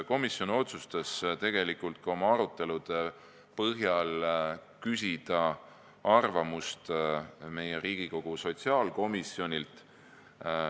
Komisjon otsustas oma arutelude põhjal küsida arvamust Riigikogu sotsiaalkomisjonilt.